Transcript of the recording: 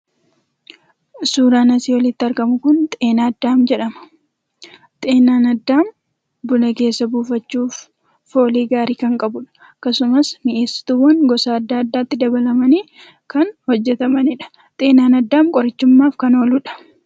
Suuraan asii olitti argamu kun 'Xeenaa Addaam' jedhama. Xeenaan addaam buna keessa buufachuuf foolii gaarii kan qabuudha. Akkasumas mi'eessituuwwan gosa adda addaatti dabalamanii kan hojjatamaniidha. Xeenaan addaam qorichummaaf kan gargaaruudha.